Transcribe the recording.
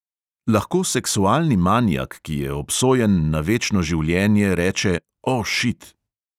Lahko seksualni manijak, ki je obsojen na večno življenje, reče – o, šit!?